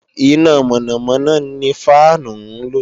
Iná mọ̀nàmọ̀nà ni fáànù ń lò